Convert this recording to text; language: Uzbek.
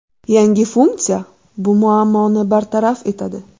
Yangi funksiya bu muammoni bartaraf etadi.